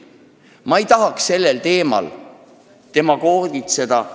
Ma ei taha sellel teemal arutledes demagoogitseda.